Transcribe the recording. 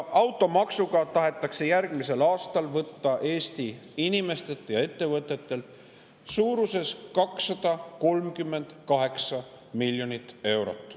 Automaksuga tahetakse järgmisel aastal võtta Eesti inimestelt ja ettevõtetelt suurusjärgus 238 miljonit eurot.